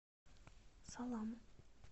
салам